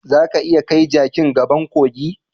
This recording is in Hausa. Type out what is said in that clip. Zaka iya kai jaki gaban kogi.